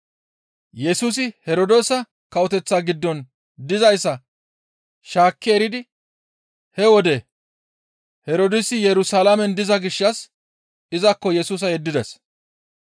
Yesusi Herdoosa Kawoteththa giddon dizayssa shaakki eridi he wode Herdoosi Yerusalaamen diza gishshas izakko Yesusa yeddides.